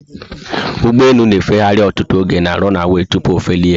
Ugbọelu na agbahari ọtụtụ oge na 'runaway' tupu ofelie